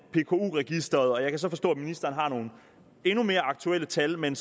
pku registeret og jeg kan så forstå at ministeren har nogle endnu mere aktuelle tal men